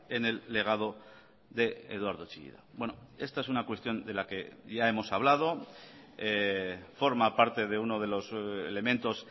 en el legado de eduardo chillida esta es una cuestión de la que ya hemos hablado forma parte de uno de los elementos